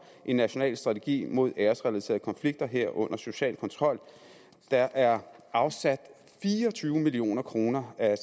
en national strategi mod æresrelaterede konflikter herunder social kontrol der er afsat fire og tyve million kroner af